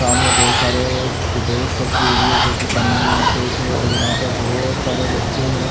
सामने बहुत सारे ड्रेस रखे हुए है जोकि पन्नी मे पैक है और यहाँ पर बहुत सारे बच्चे है।